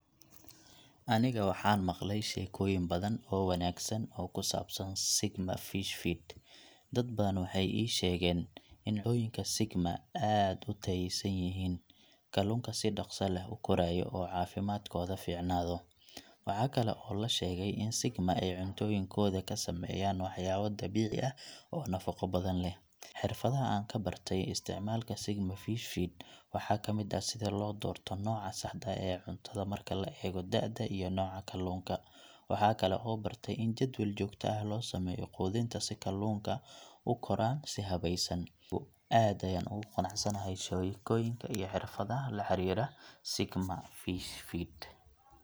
Aniga waxaan maqlay sheekooyin badan oo wanaagsan oo ku saabsan Sigma Fish Feed. Dad badan waxay ii sheegeen in cuntooyinka Sigma aad u tayaysan yihiin, kalluunka si dhakhso leh u korayo oo caafimaadkooda fiicnaado. Waxa kale oo la sheegay in Sigma ay cuntooyinkooda ka sameeyaan waxyaabo dabiici ah oo nafaqo badan leh. Xirfadaha aan ka bartay isticmaalka Sigma Fish Feed waxaa ka mid ah sida loo doorto nooca saxda ah ee cuntada marka la eego da’da iyo nooca kalluunka. Waxa kale oo bartay in jadwal joogto ah loo sameeyo quudinta si kalluunka u koraan si habaysan. Aad ayaan ugu qanacsanahay sheekooyinka iyo xirfadaha la xiriira Sigma Fish Feed.